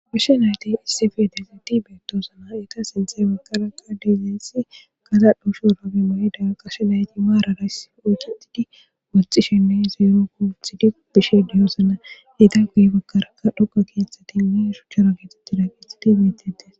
Gashe nayti issife dezayti beetosonaa eta sinthe baggaraka diizayssi kala dhusho rabe mayda gashe nayti maarara oyketidi woxxishinne zeero kuuthidi bishe dizayssa eta guye baggaraka dhoka keeththatinne shuchchara kexetida kethhthati betettees